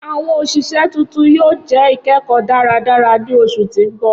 Awọn oṣiṣẹ tuntun yoo jẹ ikẹkọ daradara ni oṣu ti n bọ.